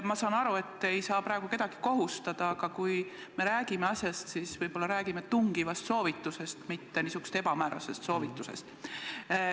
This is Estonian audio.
Ma saan aru, et te ei saa praegu kedagi eriti millekski kohustada, aga võib-olla me siis räägime tungivast soovitusest, mitte niisugusest ebamäärasest soovitusest.